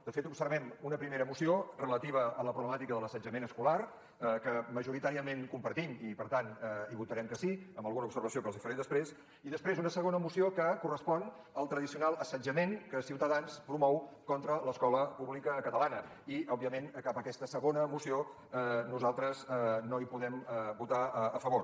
de fet observem una primera moció relativa a la problemàtica de l’assetjament escolar que majoritàriament compartim i per tant hi votarem que sí amb alguna observació que els hi faré després i després una segona moció que correspon al tradicional assetjament que ciutadans promou contra l’escola pública catalana i òbviament respecte a aquesta segona moció nosaltres no hi podem votar a favor